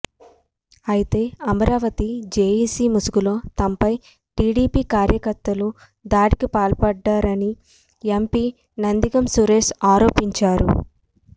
అయితే అమరావతి జేఏసీ ముసుగులో తమపై టీడీపీ కార్యకర్తలు దాడికి పాల్పడ్డారని ఎంపీ నందిగం సురేష్ ఆరోపించారు